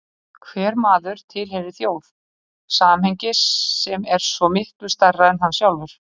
Hver maður tilheyrir þjóð, samhengi sem er svo miklu stærra en hann sjálfur.